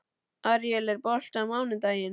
Aríel, er bolti á mánudaginn?